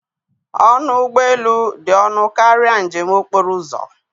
Ọnụ ụgbọ elu dị ọnụ karịa njem okporo ụzọ